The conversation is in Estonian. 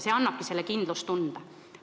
See annabki kindlustunde.